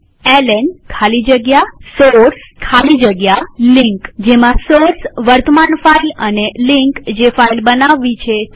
LN ખાલી જગ્યા source ખાલી જગ્યા લિંક જેમાં સોર્સ વર્તમાન ફાઈલ અને લિંક જે ફાઈલ બનાવવી છે તે છે